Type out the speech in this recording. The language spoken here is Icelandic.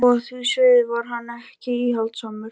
Og á því sviði var hann ekki íhaldssamur.